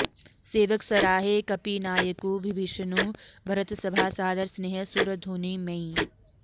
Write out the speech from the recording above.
सेवक सराहे कपिनायकु बिभीषनु भरतसभा सादर सनेह सुरधुनी मैं